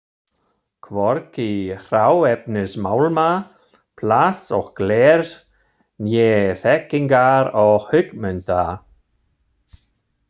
Hvorki hráefnis málma, plasts og glers né þekkingar og hugmynda.